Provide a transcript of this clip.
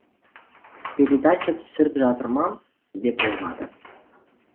передача түсіріп жатыр ма деп ойлады